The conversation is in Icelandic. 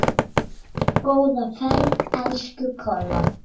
Góða ferð, elsku Kolla.